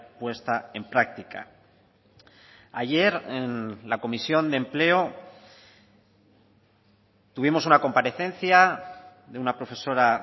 puesta en práctica ayer en la comisión de empleo tuvimos una comparecencia de una profesora